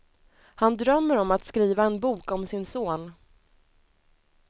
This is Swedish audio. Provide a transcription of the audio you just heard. Han drömmer om att skriva en bok om sin son.